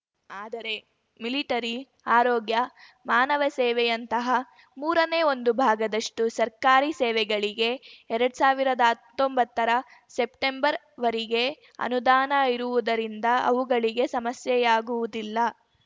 ಆದರೆ ಮಿಲಿಟರಿ ಆರೋಗ್ಯ ಮಾನವ ಸೇವೆಯಂತಹ ಮೂರನೇ ಒಂದು ಭಾಗದಷ್ಟುಸರ್ಕಾರಿ ಸೇವೆಗಳಿಗೆ ಎರಡ್ ಸಾವಿರ್ದಾ ಹತ್ತೊಂಬತ್ತರ ಸೆಪ್ಟೆಂಬರ್‌ ವರಿಗೆ ಅನುದಾನ ಇರುವುದರಿಂದ ಅವುಗಳಿಗೆ ಸಮಸ್ಯೆಯಾಗುವುದಿಲ್ಲ